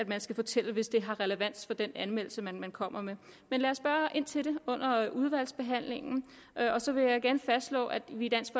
man skal fortælle hvis det har relevans for den anmeldelse man man kommer med men lad os spørge ind til det under udvalgsbehandlingen og så vil jeg igen fastslå at vi i dansk